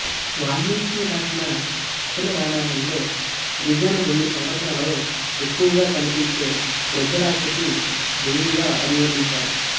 వాల్మీకి రాసిన అసలు రామాయణంలో త్రిజను రెండు సంఘటనలలో ఎక్కువగా కనిపించే వృద్ధ రాక్షసి దెయ్యం గా అభివర్ణించారు